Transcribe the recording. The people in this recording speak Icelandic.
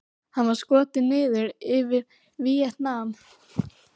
Hann var skotinn niður yfir Víetnam.